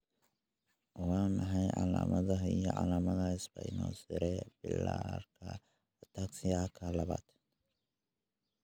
Waa maxay calaamadaha iyo calaamadaha Spinocerebellarka ataxiaka labaad?